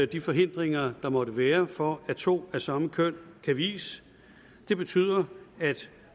de forhindringer der måtte være for at to af samme køn kan vies det betyder at